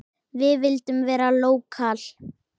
Við vildum vera lókal.